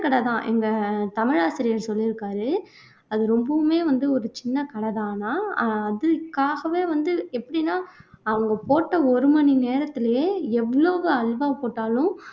கடைதான் எங்க தமிழாசிரியர் சொல்லிருக்காரு அது ரொம்பவுமே வந்து ஒரு சின்ன கடை தானாம் அஹ் அதுக்காகவே வந்து எப்படின்னா அவங்க போட்ட ஒரு மணி நேரத்திலேயே எவ்வளவு அல்வா போட்டாலும்